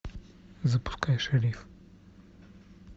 запускай шериф